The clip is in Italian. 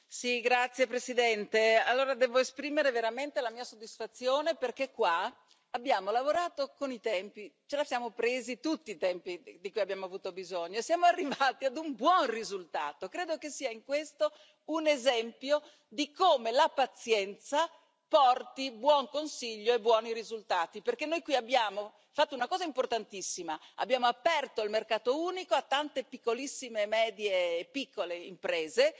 Signora Presidente, onorevoli colleghi, devo esprimere veramente la mia soddisfazione, perché qui abbiamo lavorato con i tempi necessari, ci siamo presi tutto il tempo di cui abbiamo avuto bisogno e siamo arrivati a un buon risultato. Credo che questo sia un esempio di come la pazienza porti buon consiglio e buoni risultati, perché noi qui abbiamo fatto una cosa importantissima abbiamo aperto il mercato unico a tante piccolissime medie e piccole imprese,